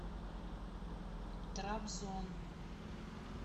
трабзон